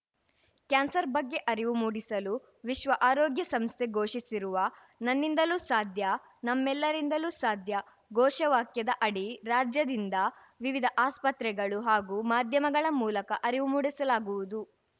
cancer ಬಗ್ಗೆ ಅರಿವು ಮೂಡಿಸಲು ವಿಶ್ವ ಆರೋಗ್ಯ ಸಂಸ್ಥೆ ಘೋಷಿಸಿರುವ ನನ್ನಿಂದಲೂ ಸಾಧ್ಯ ನಮ್ಮೆಲ್ಲರಿಂದಲೂ ಸಾಧ್ಯ ಘೋಷವಾಕ್ಯದ ಅಡಿ ರಾಜ್ಯದಿಂದ ವಿವಿಧ ಆಸ್ಪತ್ರೆಗಳು ಹಾಗೂ ಮಾಧ್ಯಮಗಳ ಮೂಲಕ ಅರಿವು ಮೂಡಿಸಲಾಗುವುದು